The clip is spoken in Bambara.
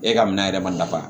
E ka minan yɛrɛ ma